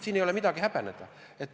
Selles ei ole midagi häbeneda.